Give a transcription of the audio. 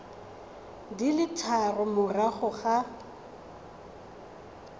di le tharo morago ga